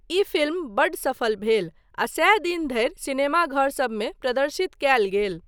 ई film बड्ड सफल भेल आ सए दिन धरि सिनेमाघरसभमे प्रदर्शित कयल गेल।